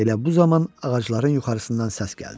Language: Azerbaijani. Elə bu zaman ağacların yuxarısından səs gəldi.